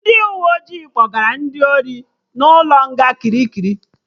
Ndị uwe ojii kpọgara ndị ori na ụlọ nga Kirikiri